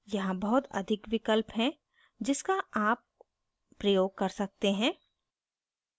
यहाँ बहुत अधिक विकल्प हैं जिसका आप प्रयोग कर सकते हैं